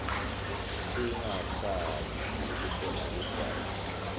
singatsandzi kubhema ligwayi